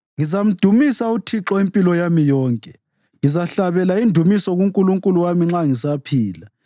Ngizamdumisa uThixo impilo yami yonke; ngizahlabela indumiso kuNkulunkulu wami nxa ngisaphila.